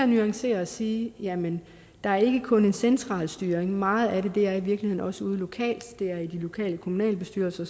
nuancere og sige jamen der er ikke kun en central styring for meget af det er i virkeligheden også ude lokalt det er i de lokale kommunalbestyrelser